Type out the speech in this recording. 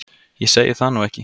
Ég segi það nú ekki.